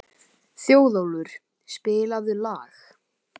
Þjóðólfur, spilaðu lag.